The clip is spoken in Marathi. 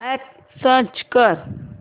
अॅप सर्च कर